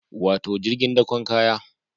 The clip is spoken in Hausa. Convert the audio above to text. Wato jirgin dakon kaya